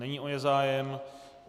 Není o ně zájem.